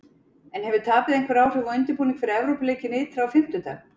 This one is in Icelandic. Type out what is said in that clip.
En hefur tapið einhver áhrif á undirbúning fyrir Evrópuleikinn ytra á fimmtudag?